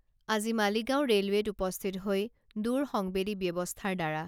আজি মালিগাঁও ৰেলৱেত উপস্থিত হৈ দূৰসংবেদী ব্যৱস্থাৰ দ্বাৰা